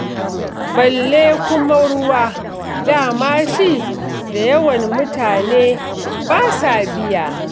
Balle kuma ruwa, da ma shi da yawan mutane ba sa biya.